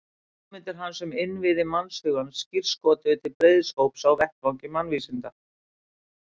Hugmyndir hans um innviði mannshugans skírskotuðu til breiðs hóps á vettvangi mannvísinda.